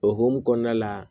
O hokumu kɔnɔna la